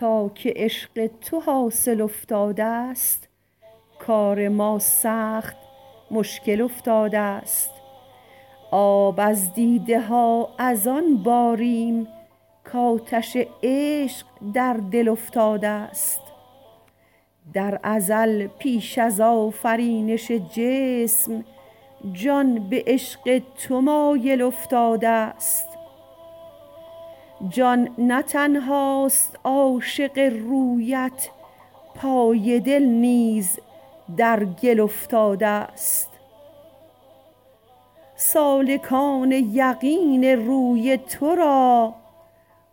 تا که عشق تو حاصل افتادست کار ما سخت مشکل افتادست آب از دیده ها از آن باریم کاتش عشق در دل افتادست در ازل پیش از آفرینش جسم جان به عشق تو مایل افتادست جان نه تنهاست عاشق رویت پای دل نیز در گل افتادست سالکان یقین روی تو را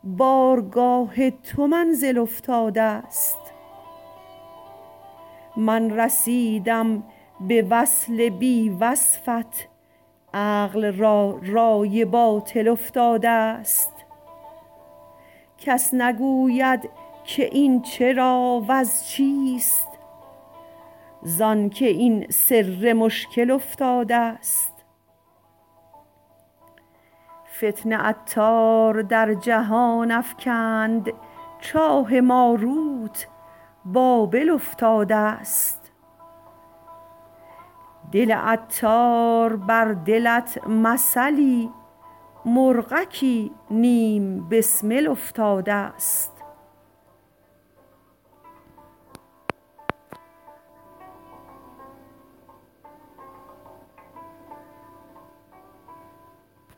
بارگاه تو منزل افتادست من رسیدم به وصل بی وصفت عقل را رای باطل افتادست کس نگوید که این چرا وز چیست زانکه این سر مشکل افتادست فتنه عطار در جهان افکند چاه ماروت بابل افتادست دل عطار بر دلت مثلی مرغکی نیم بسمل افتادست